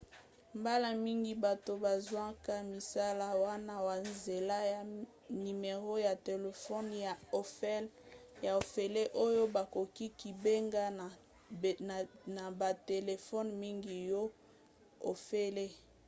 mbala mingi bato bazwaka misala wana na nzela ya nimero ya telefone ya ofele oyo bakoki kobenga na batelefone mingi ya ofele